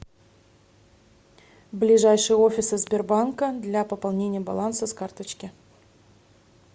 ближайшие офисы сбербанка для пополнения баланса с карточки